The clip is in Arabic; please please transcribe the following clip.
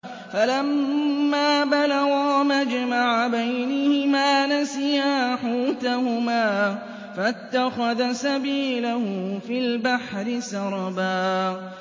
فَلَمَّا بَلَغَا مَجْمَعَ بَيْنِهِمَا نَسِيَا حُوتَهُمَا فَاتَّخَذَ سَبِيلَهُ فِي الْبَحْرِ سَرَبًا